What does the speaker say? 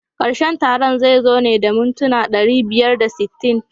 Karshen taron zai zo ne da mintuna ɗari biyar da sittin.